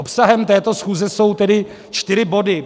Obsahem této schůze jsou tedy čtyři body.